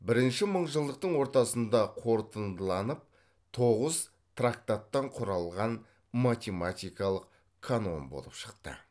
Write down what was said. бірінші мыңжылдықтың ортасында қорытындыланып тоғыз трактаттан құралған математикалық канон болып шықты